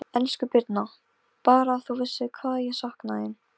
Guðmunda, hvernig er dagskráin í dag?